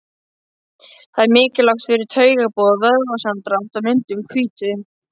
Það er mikilvægt fyrir taugaboð, vöðvasamdrátt og myndun hvítu.